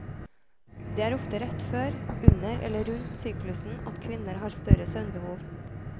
Det er ofte rett før, under eller rundt syklusen at kvinner har større søvnbehov.